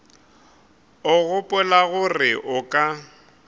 o gopola gore o ka